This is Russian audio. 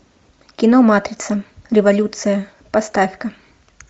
кино матрица революция поставь ка